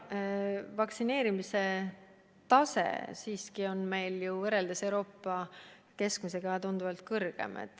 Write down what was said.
Vaktsineerimise tase on meil siiski võrreldes Euroopa keskmisega tunduvalt kõrgem.